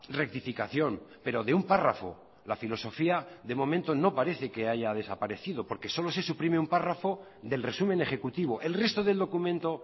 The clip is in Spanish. rectificación pero de un párrafo la filosofía de momento no parece que haya desaparecido porque solo se suprime un párrafo del resumen ejecutivo el resto del documento